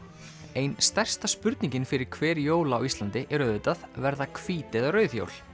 ein stærsta spurningin fyrir hver jól á Íslandi er auðvitað verða hvít eða rauð jól